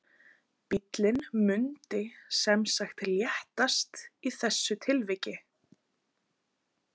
Bíllinn mundi sem sagt léttast í þessu tilviki.